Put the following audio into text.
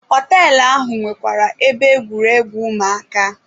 Họtelụ ahụ nwekwara ebe egwuregwu ụmụaka.